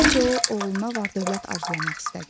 Əvvəlcə o, oğluna var-dövlət arzulamaq istədi.